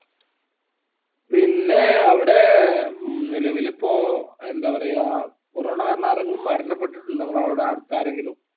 പിന്നെ അവ്ടെ നിലവിലിപ്പോ എന്താ പറയാ corona കാരണം ആരെങ്കിലും മരണപ്പെട്ടിട്ടുണ്ടോ അവ്ടെ അടുത്താരെങ്കിലും